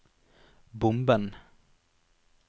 bomben